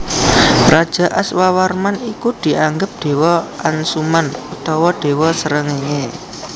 Raja Aswawarman iku dianggep dewa Ansuman utawa dewa Srengenge